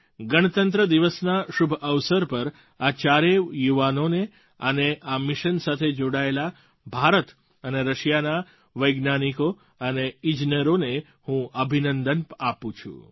આજે ગણતંત્ર દિવસના શુભ અવસર પર આ ચારેય યુવાનો અને આ મિશન સાથે જોડાયેલા ભારત અને રશિયાના વૈજ્ઞાનિકો અને ઈજનેરોને હું અભિનંદન આપું છું